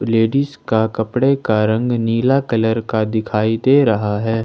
Ladies का कपड़े का रंग नीला कलर का दिखाई दे रहा है।